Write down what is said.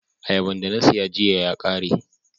Auaban da na siya giya ya kare.